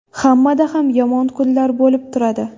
Hammada ham yomon kunlar bo‘lib turadi.